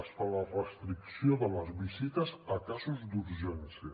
es fa la restricció de les visites a casos d’urgència